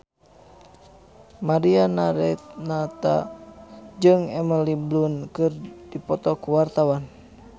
Mariana Renata jeung Emily Blunt keur dipoto ku wartawan